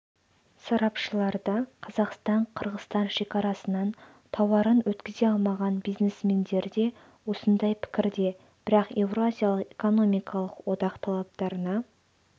сарапшылар да қазақстан-қырғызстан шекарасынан тауарын өткізе алмаған бизнесмендер де осындай пікірде бірақ еуразиялық экономикалық одақ талаптарына